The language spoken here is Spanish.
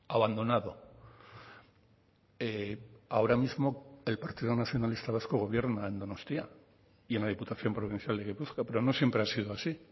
abandonado ahora mismo el partido nacionalista vasco gobierna en donostia y en la diputación provincial de gipuzkoa pero no siempre ha sido así